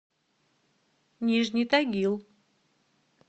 нижний тагил